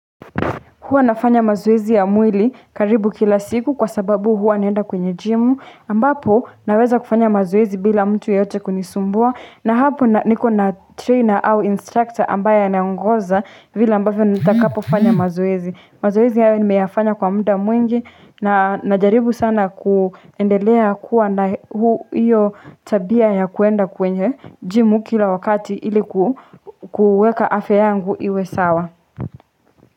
Huwa nafanya mazoezi ya mwili karibu kila siku kwa sababu huwa naenda kwenye jimu. Ambapo naweza kufanya mazoezi bila mtu yeyote kunisumbua. Na hapo niko na trainer au instructor ambaye anaongoza vila ambavyo nitakapo fanya mazoezi. Mazoezi haya nimeyafanya kwa muda mwingi na najaribu sana kuendelea kuwa na huo iyo tabia ya kuenda kwenye jimu kila wakati iliku kuweka afya yangu iwe sawa.